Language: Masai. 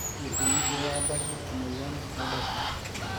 kaji ikoni pee ebaki emoyian ooldasin?